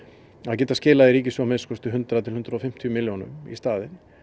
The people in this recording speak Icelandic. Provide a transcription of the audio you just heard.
geta skilað í ríkissjóð að minnsta kosti hundrað til hundrað og fimmtíu milljónum í staðinn